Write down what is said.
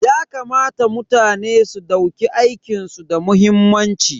Yakamata mutane su dauki aikin su da muhimmanci.